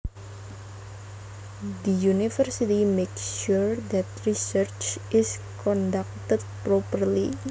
The university makes sure that research is conducted properly